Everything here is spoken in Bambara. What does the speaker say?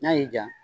N'a y'i ja